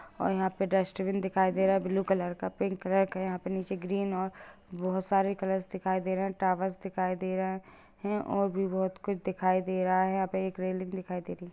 और यहां पे डस्टबिन दिखाई दे रहा है ब्लू कलर का पिंक कलर का यहां पे नीचे ग्रीन और बहुत सारे कलर्स दिखाई दे रहे हैं टावर्स दिखाई दे रहे हैं और भी बहुत कुछ दिखाई दे रहा है यहां पे एक रेलिंग भी दिखाई दे रही हैं।